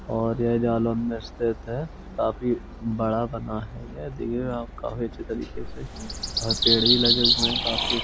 और यह जालौन मे स्थित है। काफी बड़ा बना है ये देखिए आप काफी अच्छी तरीके से और पेड़ भी लगे हुए है काफी।